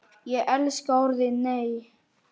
Ég elskaði orðið NEI!